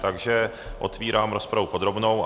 Takže otvírám rozpravu podrobnou.